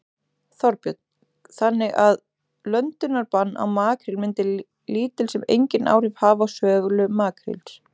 Þorbjörn: Þannig að löndunarbann á makríl myndi lítil sem enginn áhrif hafa á sölu makríls?